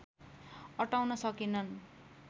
अटाउन सकेनन्